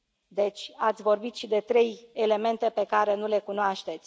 Deci, ați vorbit și de trei elemente pe care nu le cunoașteți.